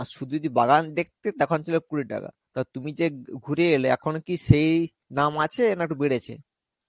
আর শুধু যদি বাগান দেখতে তখন ছিল কুড়ি টাকা. তা তুমি ঘু~ ঘুরে এলে এখনো কি সেই দাম আছে না একটু বেড়েছে?